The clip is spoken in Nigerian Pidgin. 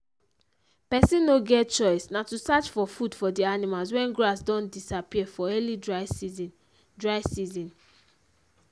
person no get choice na to search for food for the animals wen grass don disappear for early dry season dry season